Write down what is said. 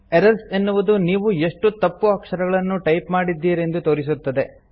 errors - ಎನ್ನುವುದು ನೀವು ಎಷ್ಟು ತಪ್ಪು ಅಕ್ಷರಗಳನ್ನು ಟೈಪ್ ಮಾಡಿದ್ದೀರೆಂದು ತೋರಿಸುತ್ತದೆ